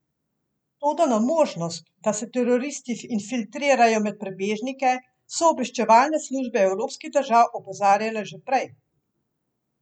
Toda na možnost, da se teroristi infiltrirajo med prebežnike, so obveščevalne službe evropskih držav opozarjale že prej.